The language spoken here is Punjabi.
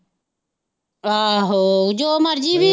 ਆਹੋ ਜੋ ਮਰਜ਼ੀ ਭੀ।